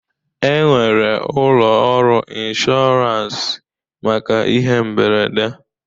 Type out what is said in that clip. E nwere ụlọ ọrụ ịnshọransị maka ihe mberede